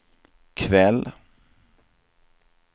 kväll